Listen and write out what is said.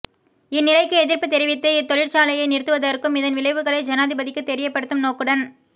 இந்நிலைக்கு எதிர்ப்பு தெரிவித்து இத்தொழிற்சாலையை நிறுத்துவதற்க்கும் இதன் விளைவுகளை ஜனாதிபதிக்கு தெரியப்படுத்தும் நோக்குடன்